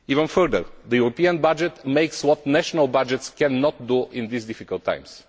level. Furthermore, the European budget does what national budgets cannot do in these difficult